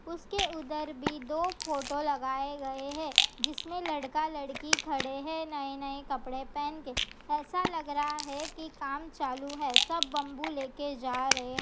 उसके उधर भी दो फोटो लगाए गए है जिसमें लड़का लड़की खड़े है नए-नए कपड़े पहन के ऐसा लग रहा है की काम चालू है सब बम्बू लेके जा रहे है।